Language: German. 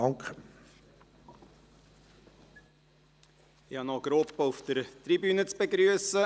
Ich habe noch eine Gruppe auf der Tribüne zu begrüssen.